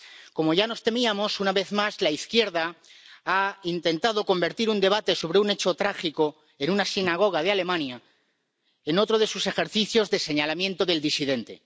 Como ya nos temíamos, una vez más la izquierda ha intentado convertir un debate sobre un hecho trágico en una sinagoga de Alemania en otro de sus ejercicios de señalamiento del disidente.